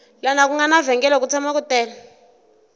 lana ku nga na vhengele ku tshama ku tele